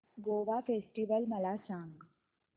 Goa festival मला सांग